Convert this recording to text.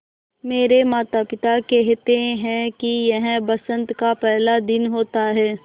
मेरे माता पिता केहेते है कि यह बसंत का पेहला दिन होता हैँ